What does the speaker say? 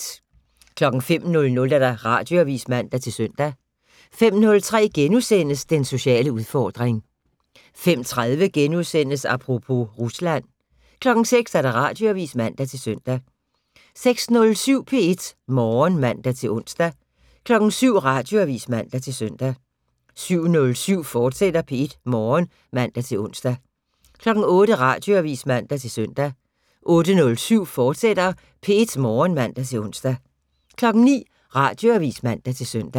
05:00: Radioavis (man-søn) 05:03: Den sociale udfordring * 05:30: Apropos - Rusland * 06:00: Radioavis (man-søn) 06:07: P1 Morgen (man-ons) 07:00: Radioavis (man-søn) 07:07: P1 Morgen, fortsat (man-ons) 08:00: Radioavis (man-søn) 08:07: P1 Morgen, fortsat (man-ons) 09:00: Radioavis (man-søn)